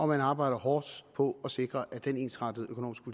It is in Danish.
man arbejder hårdt på at sikre at den ensrettede økonomiske